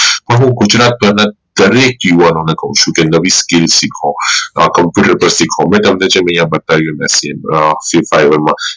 હું ગુજરાતના દરેક જીવનું ઓ ને કાવ ચુ કે skill શીખો આ computer પર શીખો મેં તમને જેમ અઇયા બતાવ્યું એમ